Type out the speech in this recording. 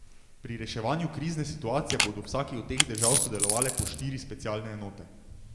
Pri reševanju krizne situacije bodo v vsaki od teh držav sodelovale po štiri specialne enote.